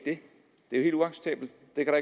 det er